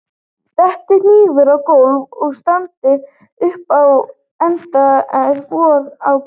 detti hnífur á gólf og standi upp á endann er von á gesti